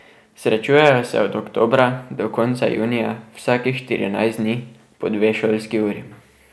Srečujejo se od oktobra do konca junija vsakih štirinajst dni po dve šolski uri.